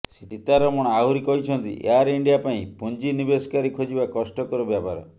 ସୀତାରମଣ ଆହୁରି କହିଛନ୍ତି Air India ପାଇଁ ପୁଞ୍ଜି ନିବେଶକାରୀ ଖୋଜିବା କଷ୍ଟକର ବ୍ୟାପାର